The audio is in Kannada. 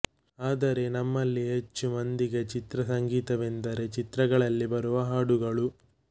ಆದರೆ ನಮ್ಮಲ್ಲಿ ಹೆಚ್ಚು ಮಂದಿಗೆ ಚಿತ್ರ ಸಂಗೀತವೆಂದರೆ ಚಿತ್ರಗಳಲ್ಲಿ ಬರುವ ಹಾಡುಗಳು